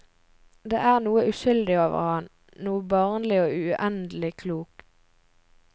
Det er noe uskyldig over ham, noe barnlig og uendelig klokt.